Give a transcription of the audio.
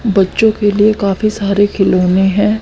बच्चों के लिए काफी सारे खिलौने हैं।